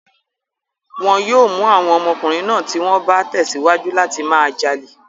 Wọn yóò mú àwọn ọmọkùnrin náà tí wọ́n bá tẹ̀síwájú láti máa jalè.